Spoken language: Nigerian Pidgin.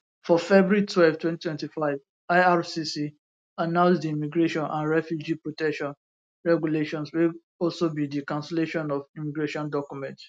for february twelve 2025 ircc announce di immigration and refugee protection regulations wey also be di cancellation of immigration documents